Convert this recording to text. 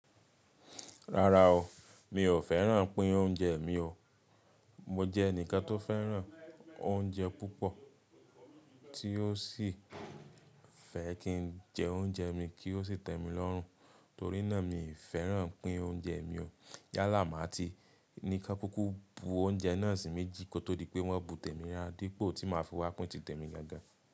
Rárá o, mi ò fẹ́ràn pín oúnjẹ mi o. Mo jẹ́ ẹnìkan tó fẹ́ràn oúnjẹ púpọ̀ tí ó sì fẹ́ kí n jẹ oúnjẹ mi kí ó sì tẹ́mi lọ́rùn, torí náà mi ì fẹ́ràn pín oúnjẹ mi o. Yálà má ti ní kọ́ kúkú bú oúnjẹ náà sí méjì kò tó dipé wọ́n bú tẹ̀mí rárá dípò tí máa fi wá pín tìtẹ̀mí gangan.